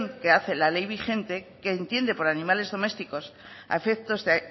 que hace la ley vigente que entiende por animales domésticos a efectos de